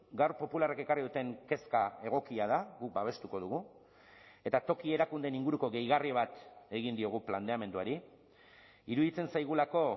gaur popularrek ekarri duten kezka egokia da guk babestuko dugu eta toki erakundeen inguruko gehigarri bat egin diogu planteamenduari iruditzen zaigulako